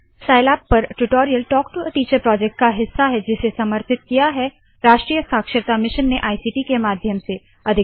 Scilab पर tutorial talk to a teacher project का हिस्सा है जिसे समर्थित किया है राष्ट्रीय साक्षरता मिशन ने इक्ट के माध्यम से